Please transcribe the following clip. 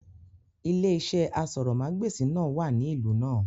Ilé iṣẹ́ asọ̀rọ̀mágbèsì náà wà ní ìlú náà